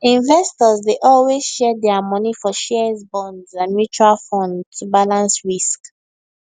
investors dey always share dia money for shares bonds and mutual fund to balance risk